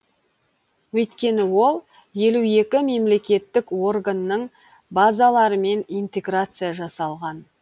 өйткені ол елу екі мемлекеттік органның базаларымен интеграция жасалған